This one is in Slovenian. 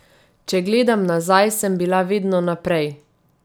Če gledam nazaj, sem bila vedno naprej.